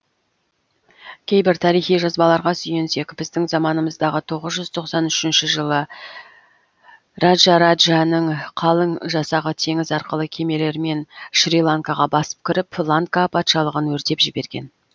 кейбір тарихи жазбаларға сүйенсек біздің заманымыздағы тоғыз жүз тоқсан үшінші жылы раджараджаның қалың жасағы теңіз арқылы кемелермен шриланкаға басып кіріп ланка патшалығын өртеп жіберген